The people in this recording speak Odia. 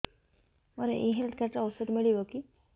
ମୋର ଏଇ ହେଲ୍ଥ କାର୍ଡ ରେ ଔଷଧ ମିଳିବ କି